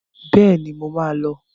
Bẹ́ẹ̀ni, mo máa lọ.